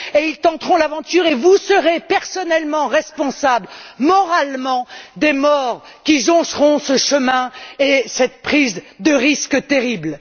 Ils tenteront l'aventure, et vous serez personnellement responsables, sur le plan moral, des morts qui joncheront ce chemin et de cette prise de risque terrible.